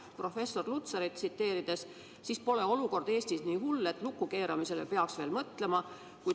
Kui professor Lutsarit tsiteerida, siis pole olukord Eestis nii hull, et riigi lukku keeramisele peaks mõtlema.